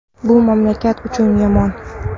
Bu mamlakat uchun yomon!”.